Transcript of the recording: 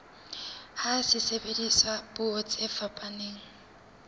ha sebediswa puo tse fetang